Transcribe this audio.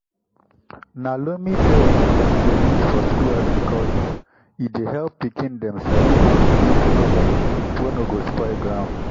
na loamy beds dem dey use for school agriculture e dey help pikin dem sabi how to do better garden wey no go spoil ground.